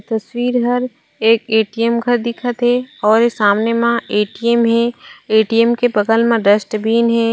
तस्वीर हर एक ए. टी. एम. घर दिखत हे और ए सामने मा एक ए. टी. एम. हे ए. टी. एम के बगल म डस्टबिन हे।